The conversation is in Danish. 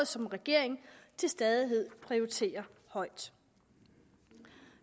som regeringen til stadighed prioriterer højt